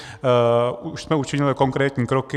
Už jsme učinili konkrétní kroky.